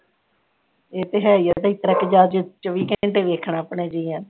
ਇਹ ਤੇ ਹੈਈ ਏ ਇਤਨੇ ਕੇ ਜਾਕੇ ਚੋਵੀ ਘੰਟੇ ਵੇਖਣਾ ਅਪਣੇ ਜਿਆਂ ਨੂੰ